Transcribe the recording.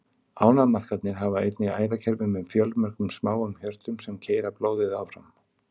Ánamaðkarnir hafa einnig æðakerfi með fjölmörgum smáum hjörtum, sem keyra blóðið áfram.